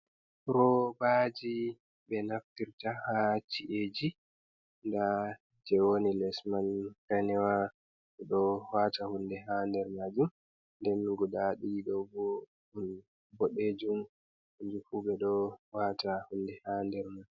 Roobaji ɓe naftirta haa ci’eji, nda je woni les man danewa ɓeɗo wata hunde ha der majum, nden guda ɗiɗi ɗo bo bodejum hanjufu ɓe ɗo wata hunde ha nder mai.